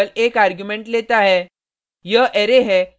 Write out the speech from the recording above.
pop function केवल एक argument लेता है